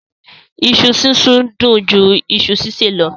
iṣu sisùn dùn jù iṣu ṣiṣẹ lọ.